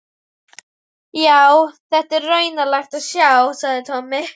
Já, þetta er raunalegt að sjá, sagði Tommi.